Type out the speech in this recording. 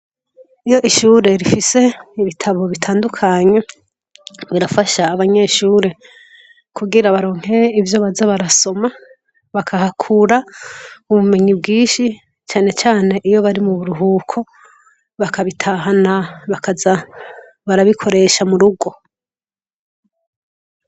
Iyo ishure rifise ibitabo bitandukanye birafasha abanyeshure kugira baronke ivyo baza barasoma bakahakura ubumenyi bwinshi cane cane iyo bari muburuhuko bakabitahana bakaza barabikoresha murugo.